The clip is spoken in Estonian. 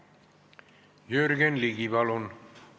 Jürgen Ligi, palun!